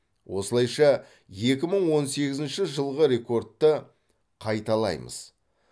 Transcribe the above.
осылайша екі мың он сегізінші жылғы рекордты қайталаймыз